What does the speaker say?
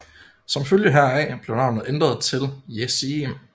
Som følge heraf blev navnet ændret til Jesseim